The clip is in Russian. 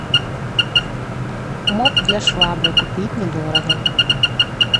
моп для швабры купить недорого